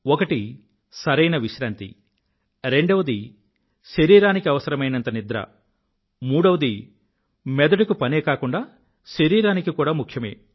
ఒకటి సరైన విశ్రాంతి రెండవది శరరానికి అవసరమైనంత నిద్ర మూడవది మెదడుకి పనే కాకుండా శరీరానికి కూడా ముఖ్యమే